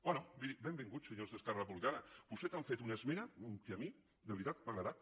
bé miri benvinguts senyors d’esquerra republicana vostès han fet una esmena que a mi de veritat m’ha agradat